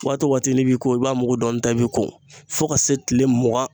Waati o waati n'i bɛ ko i b'a mugu dɔɔnin ta i bɛ ko fo ka se tile mugan